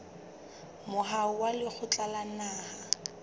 moaho wa lekgotla la naha